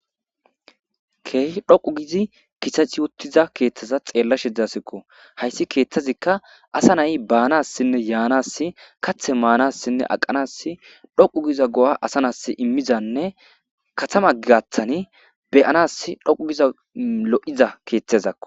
keehi dhoqu gizi kisachi wottiza keeththaza xeella shidzasikko hayssi keeththazikka asa nayi baanassinne yaanas kathe maanassinne aqanass dhoqu giza go7a asa nas immizanne katama gigathani beyanas dhoqu giza lo7iza keeththezakko